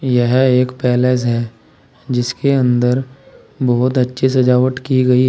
यह एक पैलेस है जिसके अंदर बहुत अच्छी सजावट की गई--